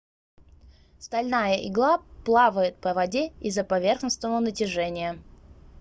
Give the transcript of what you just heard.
стальная игла плавает по воде из-за поверхностного натяжения